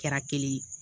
Kɛra kelen ye